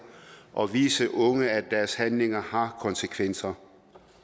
og vise unge at deres handlinger har konsekvenser